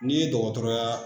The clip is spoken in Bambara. N'i ye dɔgɔtɔrɔya